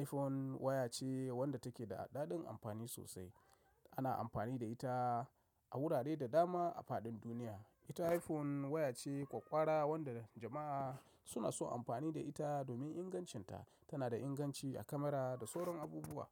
iPhone waya ce wadda take da daɗaɗɗin amfani sosai. Ana amfani da ita a wurare da dama a faɗin duniya. Ita iPhone waya ce ƙwaƙƙwara wadda jama'a suna so amfani da ita domin ingancinta. Tana da inganci a kamara da sauran abubuwa.